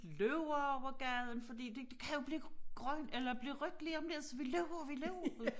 Løber over gaden fordi det det kan jo blive grønt eller blive rødt lige om lidt så vi løber og vi løber